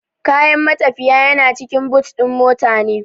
Kayan matafiyi cikin